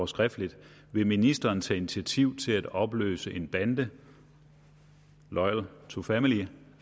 skriftligt vil ministeren tage initiativ til at opløse en bande loyal to familia